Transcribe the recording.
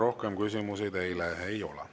Rohkem küsimusi teile ei ole.